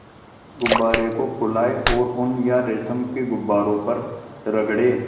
गुब्बारे को फुलाएँ और ऊन या रेशम को गुब्बारे पर रगड़ें